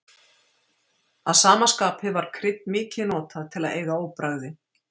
Að sama skapi var krydd mikið notað til að eyða óbragði.